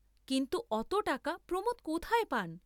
কিন্তু অত টাকা প্রমোদ কোথায় পান?